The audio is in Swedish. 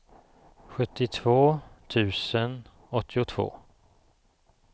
sjuttiotvå tusen åttiotvå